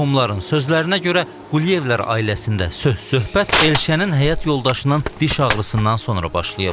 Qohumların sözlərinə görə Quliyevlər ailəsində söhbət Elşənin həyat yoldaşının diş ağrısından sonra başlayıb.